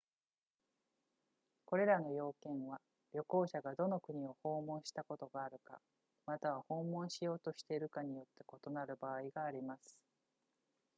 これらの要件は旅行者がどの国を訪問したことがあるかまたは訪問しようとしているかによって異なる場合があります